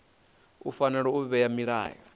u fanela u vhea milayo